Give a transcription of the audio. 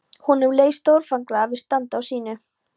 Honum leið stórfenglega við að standa á sínu.